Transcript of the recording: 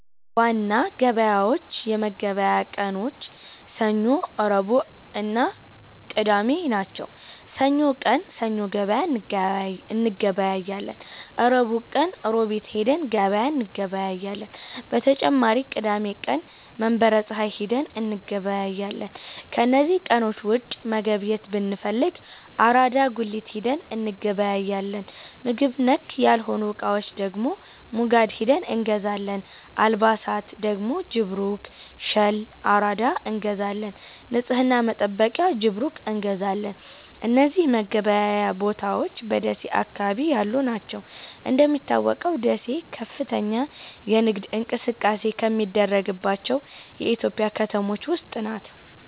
የምግብ ዋና ገበያዎች የመገብያ ቀኖች ሰኞ፣ ረቡዕእና ቅዳሜ ናቸው። ሰኞ ቀን ሰኞ ገበያ እንገበያለን። ረቡዕ ቀን ሮቢት ሂደን ገበያ እንገበያለን። በተጨማሪም ቅዳሜ ቀን መንበረ ፀሀይ ሂደን እንገበያለን። ከነዚህ ቀኖች ውጪ መገብየት ብንፈልግ አራዳ ጉሊት ሂደን እንገበያለን። ምግብ ነክ ያልሆኑ እቃዎች ደግሞ ሙጋድ ሂደን እንገዛለን። አልባሣት ደግሞ ጅብሩክ፣ ሸል፣ አራዳ እንገዛለን። ንፅህና መጠበቂያ ጅብሩክ እንገዛለን። እነዚህ መገበያያ ቦታዎች በደሴ አካባቢ ያሉ ናቸው። እንደሚታወቀው ደሴ ከፍተኛ የንግድ እንቅስቃሴ ከሚደረግባቸው የኢትዮጵያ ከተሞች ውስጥ ናት።